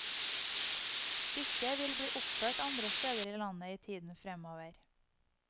Stykket vil bli oppført andre steder i landet i tiden fremover.